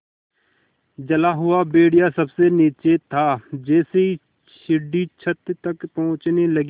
जला हुआ भेड़िया सबसे नीचे था जैसे ही सीढ़ी छत तक पहुँचने लगी